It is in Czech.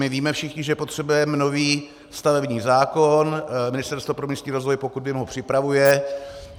My víme všichni, že potřebujeme nový stavební zákon, Ministerstvo pro místní rozvoj, pokud vím, ho připravuje.